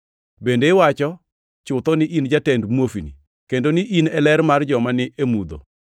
Bende iwacho chutho ni in jatend muofni, kendo ni in e ler mar joma ni e mudho;